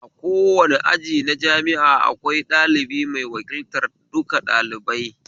A kowane aji na jami'a akwai ɗalibi mai wakiltar duka ɗalibai